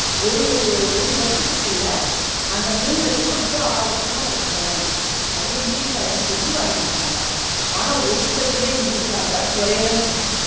ஒரு ஒரு வருசத்துக்குள்ள அந்த மூணு லட்சோ வந்து ஆறு லட்சமா கிடைச்சிரும், அவ்ளோ increase ஆயிரும்ன்னு சொல்லி வாங்கி குடுத்தாங்க, ஆனா ஒருதர்க்குமே increase ஆகல குறயதான் செஞ்சிச்சு